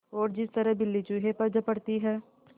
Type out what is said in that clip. और जिस तरह बिल्ली चूहे पर झपटती है